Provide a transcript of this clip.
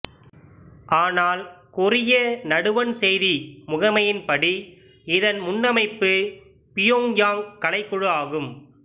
ஆனால் கொரிய நடுவண் செய்தி முகமையின்படி இதன் முன்னமைப்பு பியோங்யாங் கலைக் குழு ஆகும்